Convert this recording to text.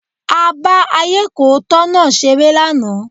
A bá ayékòótọ́ náà ṣeré lánàá